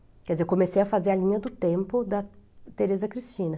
Quer dizer, eu comecei a fazer a linha do tempo da Teresa Cristina.